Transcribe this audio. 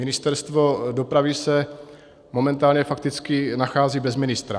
Ministerstvo dopravy se momentálně fakticky nachází bez ministra.